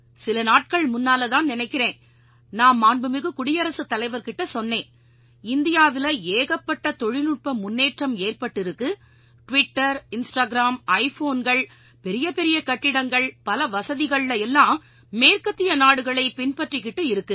சில நாட்கள் முன்னாலதான்னு நினைக்கறேன் நான் மாண்புமிகு குடியரசுத்தலைவர் கிட்ட சொன்னேன் இந்தியாவில ஏகப்பட்ட தொழில்நுட்ப முன்னேற்றம் ஏற்பட்டிருக்கு டிவிட்டர் இன்ஸ்டாகிராம் ஐ ஃபோன்கள் பெரிய பெரிய கட்டிடங்கள் பல வசதிகள்ல எல்லாம் மேற்கத்திய நாடுகளைப் பின்பற்றிக்கிட்டு இருக்கு